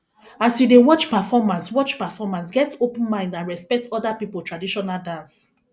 as you dey watch performance watch performance get open mind and respect oda pipo traditional dance